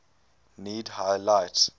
need high light